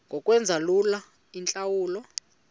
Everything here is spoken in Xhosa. ngokwenza lula iintlawulo